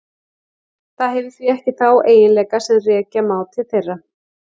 Það hefur því ekki þá eiginleika sem rekja má til þeirra.